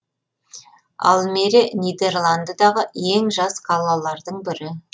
алмере нидерландыдағы ең жас қалалардың бірі